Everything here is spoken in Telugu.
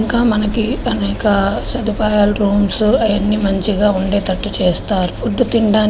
ఇకడ మనకి అనేక సదుపాయాలు రూమ్స్ ఆయన్ని మంచిగా ఉండేటట్టు చేస్తారు. ఫుడ్ తినడాని --